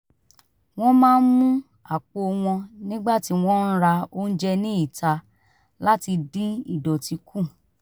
wọ́n máa ń mú àpò wọn nígbà tí wọ́n ń ra oúnjẹ ní ìta láti dín ìdọ̀tí kù